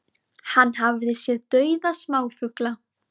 Hann hafi séð dauða smáfugla